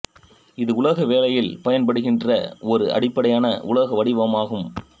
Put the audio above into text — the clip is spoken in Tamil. இது உலோகவேலையில் பயன்படுகின்ற ஒரு அடிப்படையான உலோக வடிவம் ஆகும்